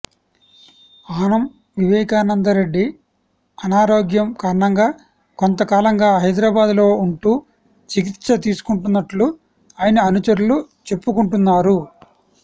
ఆనం వివేకానందరెడ్డి అనారోగ్యం కారణంగా కొంతకాలంగా హైదరాబాద్ లో ఉంటూ చికిత్స తీసుకుంటున్నట్లు ఆయన అనుచరులు చెప్పుకుంటున్నారు